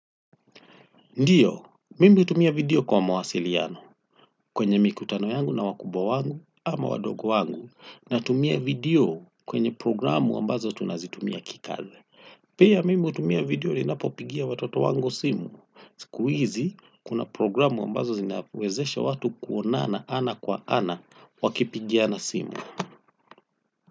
Ndiyo, mimi hutumia video kwa mawasiliano kwenye mikutano yangu na wakubwa wangu ama wadogo wangu natumia video kwenye programu ambazo tunazitumia kikazi. Pia mimi hutumia video ninapopigia watoto wango simu. Siku hizi kuna programu ambazo zinawezesha watu kuonana ana kwa ana wakipigiana simu.